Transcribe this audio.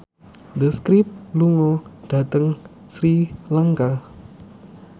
The Script lunga dhateng Sri Lanka